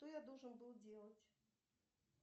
что я должен был делать